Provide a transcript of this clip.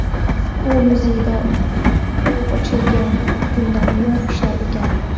U muzeyda u ochilgan kundan buyon ishlar ekan.